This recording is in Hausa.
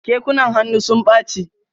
Kekunan hannu sun ɓache.